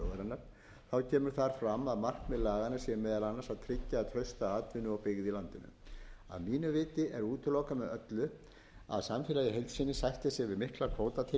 að markmið laganna sé meðal annars að tryggja trausta atvinnu og byggð í landinu að mínu viti er útilokað með öllu að samfélagið í heild sinni sætti sig við miklar kvótatilfærslur í